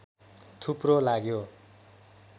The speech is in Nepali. थुप्रो लाग्यो